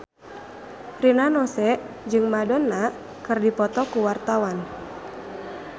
Rina Nose jeung Madonna keur dipoto ku wartawan